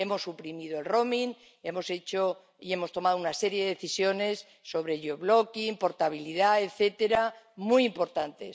Hemos suprimido el roaming hemos hecho y hemos tomado una serie de decisiones sobre job locking portabilidad, etcétera, muy importantes.